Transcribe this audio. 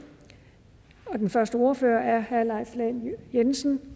og den første ordfører er herre leif lahn jensen